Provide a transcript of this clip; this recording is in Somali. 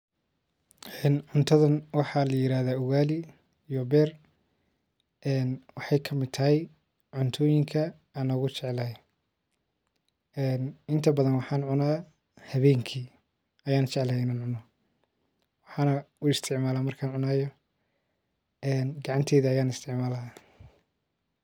Waxan cuntadha waxaa layiradhaa ugali iyo beer waxey kamid tahy cuntooyinka aan ugujeclahy een inta badhan waxaan cunaa habeenki ayaan jeclahy in aan cuno waxaan isticmala markaan cunayo gacanteyda ayaan isticmala.